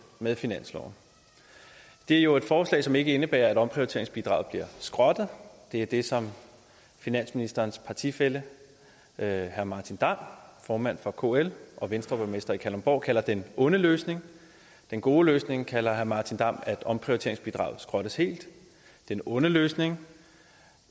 med finansloven det er jo et forslag som ikke indebærer at omprioriteringsbidraget bliver skrottet det er det som finansministerens partifælle herre martin damm formanden for kl og venstreborgmester i kalundborg kalder den onde løsning den gode løsning kalder herre martin damm at omprioriteringsbidraget skrottes helt den onde løsning